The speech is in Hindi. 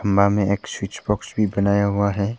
में एक स्विच बॉक्स भी बनाया हुआ है।